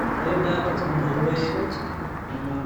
необходимо пополнить свой телефон